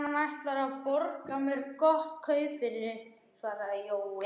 Hann ætlar að borga mér gott kaup fyrir, svaraði Jói.